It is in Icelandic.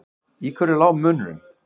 Í hverju lá munurinn?